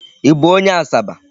Ị bụ onye Asaba?